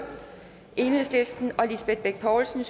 og lisbeth bech poulsen